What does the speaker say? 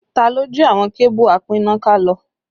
Ta ló jí àwọn kébù apínnáká lọ?